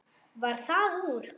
Varð það úr.